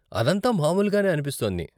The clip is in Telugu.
అదంతా మామూలుగానే అనిపిస్తోంది.